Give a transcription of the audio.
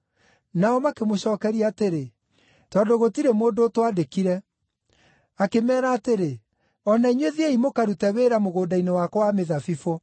“Nao makĩmũcookeria atĩrĩ, ‘Tondũ gũtirĩ mũndũ ũtwandĩkire.’ “Akĩmeera atĩrĩ, ‘O na inyuĩ thiĩi mũkarute wĩra mũgũnda-inĩ wakwa wa mĩthabibũ.’